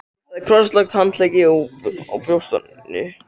Hún hafði krosslagt handleggina á brjóstinu.